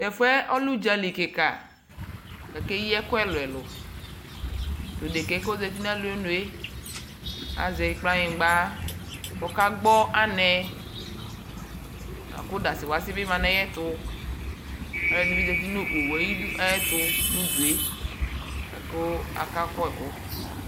Tɛfu yɛ ɔlɛ udzali kika kʋ akeyi ɛkʋ ɛlʋɛlʋ Tɔ odika yɛ kʋ ozati nʋ alonue, azɛ kplɔanyigba kʋ ɔkagbɔ anɛ akʋ dasiwasi bi ma nʋ ayʋɛtu Alʋɔdi bi zati nʋ owu yɛ ayʋdu ayʋɛtʋ nʋ udu yɛ la kʋ akaku ɛkʋ